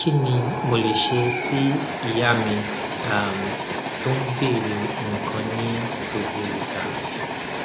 kí ni mo lè ṣe sí ìyá mi um tó ń bèèrè nǹkan ní gbogbo ìgbà